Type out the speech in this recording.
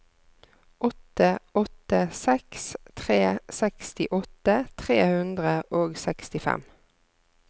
åtte åtte seks tre sekstiåtte tre hundre og sekstifem